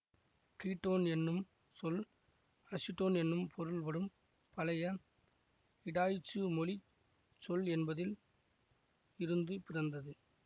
ketone என்னும் சொல் acetone என்று பொருள் படும் பழைய இடாய்ச்சு மொழி சொல் என்பதில் இருந்து பிறந்தது